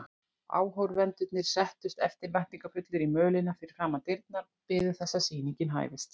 Áhorfendurnir settust eftirvæntingarfullir í mölina fyrir framan dyrnar og biðu þess að sýningin hæfist.